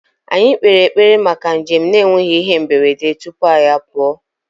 Anyị kpere ekpere maka njem na-enweghị ihe mberede tupu anyị apụọ